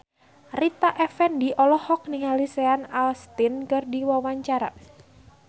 Rita Effendy olohok ningali Sean Astin keur diwawancara